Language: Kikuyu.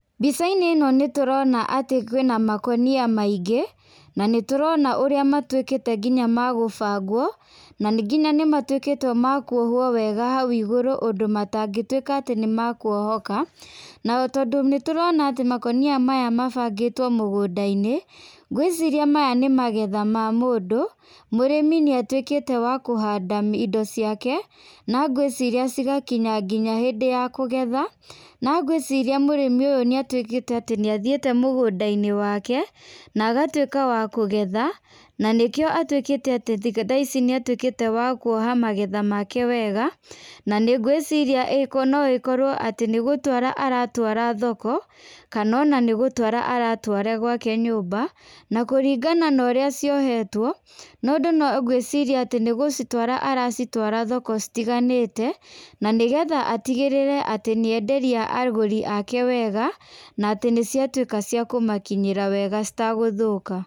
Mbica-inĩ ĩno nĩ tũrona atĩ kwĩna makũnia maingĩ na nĩ tũrona ũrĩa matuĩkĩte nginya magũbangwo na ngina nĩ matuĩkĩte makuohwo wega hau igũrũ ũndũ matangĩtuĩka atĩ nĩmakuohoka. Na tondũ nĩ tũrona ati makonia maya mabangĩtwo mũgũnda-inĩ ngwĩciria maya nĩ magetha mamũndũ. Mũrĩmi nĩ atuĩkĩte wa kũhanda indo ciake na ngwĩciria cigakinya nginya hĩndĩ ya kũgetha na ngwĩciria mũrĩmi ũyũ nĩ atuĩkĩte atĩ nĩ athiĩte nginya mũgũnda-inĩ wake na agatuĩka wa kũgetha. Na nĩkĩo atuĩkĩte atĩ thaa ici nĩ atuĩkĩte wa kuoha magetha make wega, na nĩ ngwĩciria no ĩkorwo atĩ nĩ gũtwara aratwara thoko kana ona nĩ gũtwara aratwara gwake nyũmba. Na kũringana na ũrĩa ciohetwo mũndũ ngwĩciria atĩ nĩ gũcitwara aracitwara thoko citiganĩte. Na nĩ getha atigĩrĩre atĩ nĩ enderia agũri ake wega, na atĩ nĩ ciatuĩka ciakũmakinyĩra wega citagũthũka.